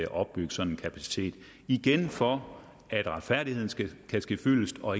opbygge sådan en kapacitet igen for at retfærdigheden skal kunne ske fyldest og